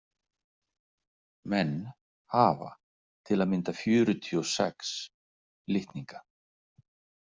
Menn hafa til að mynda fjörutíu og sex litninga.